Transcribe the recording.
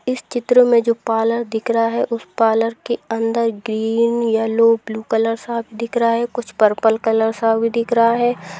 इस चित्र में जो पार्लर दिख रहा है उस पार्लर के अंदर ग्रीन येलो ब्लू कलर सा दिख रहा है कुछ पर्पल सा भी दिख रहा है।